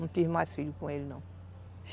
Não tive mais filho com ele não.